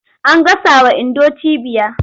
An gasawa Indo cibiya.